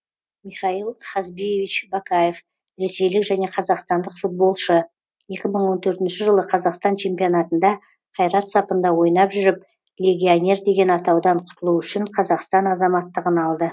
михаил хазбиевич бакаев ресейлік және қазақстандық футболшы екі мың он төртінші жылы қазақстан чемпионатында қайрат сапында ойнап жүріп легионер деген атаудан құтылу үшін қазақстан азаматтығын алды